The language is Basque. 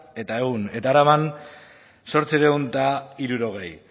ehun eta araban zortziehun eta hirurogei